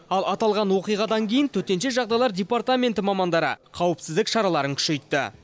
ал аталған оқиғадан кейін төтенше жағдайлар департаменті мамандары қауіпсіздік шараларын күшейтті